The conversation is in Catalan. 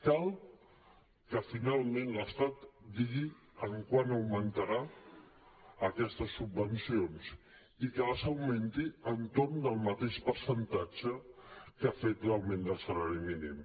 cal que finalment l’estat digui en quant augmentarà aquestes subvencions i que les augmenti entorn del mateix percentatge amb què ha fet l’augment del salari mínim